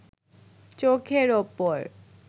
চোখের ওপর